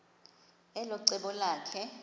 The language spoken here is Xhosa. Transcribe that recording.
elo cebo lakhe